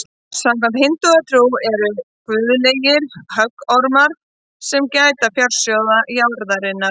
Samkvæmt hindúatrú eru nögur guðlegir höggormar sem gæta fjársjóða jarðarinnar.